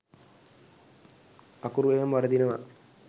අකුරු එහෙම වරදිනවා.